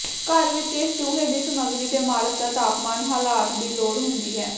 ਘਰ ਵਿਚ ਇਹ ਚੂਹੇ ਦੀ ਸਮੱਗਰੀ ਦੇ ਮਾਲਕ ਦਾ ਤਾਪਮਾਨ ਹਾਲਾਤ ਦੀ ਲੋੜ ਹੁੰਦੀ ਹੈ